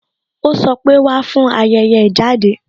Ó sọ pé "Wá fún ayẹyẹ ìjáde